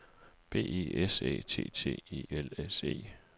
B E S Æ T T E L S E